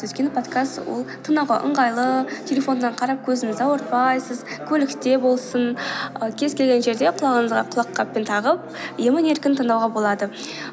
өйткені подкаст ол тыңдауға ыңғайлы телефоннан қарап көзіңізді ауыртпайсыз көлікте болсын ы кез келген жерде құлағыңызға құлаққаппен тағып емін еркін тыңдауға болады